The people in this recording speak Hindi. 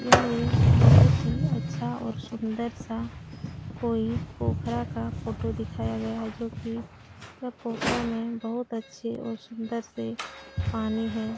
यह एक बहोत ही अच्छा और सुन्दर-सा कोई पोखरा का फोटो दिखाया गया है जो कि पोखरा में बहोत अच्छे और सुन्दर से पानी है।